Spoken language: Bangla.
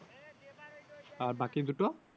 আর বাকি দুটো?